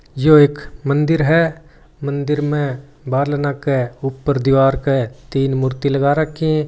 यो एक मंदिर है मंदिर में बारले नाके ऊपर दीवार के तीन मूर्ति लगा राखि --